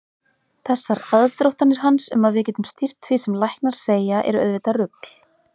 Þessar aðdróttanir hans um að við getum stýrt því sem læknar segja eru auðvitað rugl.